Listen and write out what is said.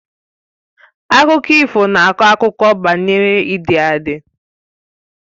Akụkọ ifo na akọ akụkọ banyere ịdị adi